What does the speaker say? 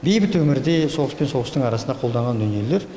бейбіт өмірде соғыс пен соғыстың арасында қолданған дүниелер